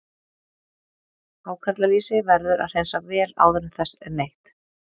Hákarlalýsi verður að hreinsa vel áður en þess er neytt.